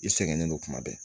I sɛgɛnnen don kuma bɛɛ